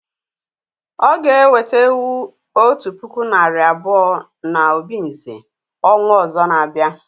O ga eweta ewu otu puku nari abuo na obinze ọnwa ọzọ na abia